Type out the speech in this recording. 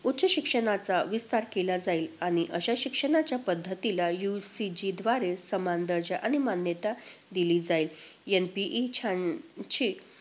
उच्च शिक्षणाचा विस्तार केला जाईल आणि अशा शिक्षणाच्या पद्धतीला UGC द्वारे समान दर्जा आणि मान्यता दिली जाईल. NPE शहाऐंशी